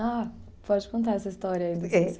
Ah, pode contar essa história aí.